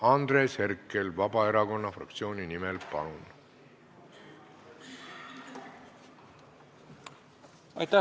Andres Herkel Vabaerakonna fraktsiooni nimel, palun!